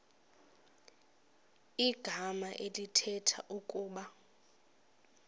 igama elithetha ukuba